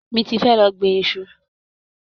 Mi ti fé lọ gbin iṣu.